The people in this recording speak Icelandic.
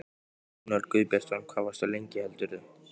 Jón Örn Guðbjartsson: Hvað varstu lengi heldurðu?